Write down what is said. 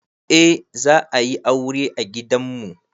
Eh za a yi aure a gidan mu.